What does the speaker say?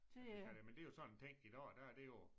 At vi kan det men det jo så en ting i dag der er det jo